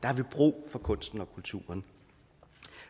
har vi brug for kunsten og kulturen